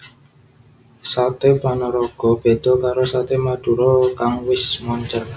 Saté Panaraga beda karo Saté Madura kang wis moncèr